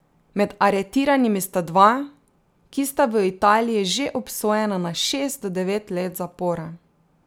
Med aretiranimi sta dva, ki sta v Italiji že obsojena na šest do devet let zapora.